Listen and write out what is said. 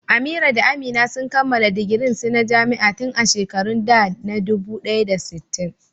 Amira da Amina sun kammala digirin su na jami'a tun a shekarun da na dubu ɗaya da sittin.